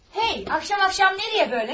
Hey, axşam-axşam nəyə belə?